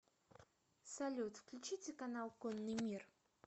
салют включите канал конный мир